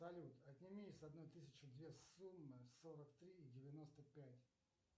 салют отними из одной тысячи две суммы сорок три и девяносто пять